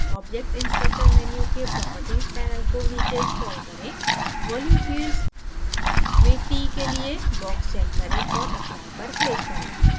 object inspector menu के properties panel को नीचे scroll करें volume fields fields में t के लिए box check करें और apply पर click करें